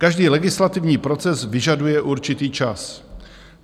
Každý legislativní proces vyžaduje určitý čas.